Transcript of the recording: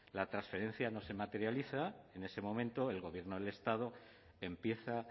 la transferencia no se materializa en ese momento el gobierno del estado empieza